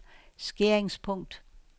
skæringspunkt